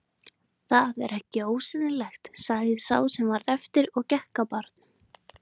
Það er ekki ósennilegt sagði sá sem eftir varð og gekk að barnum.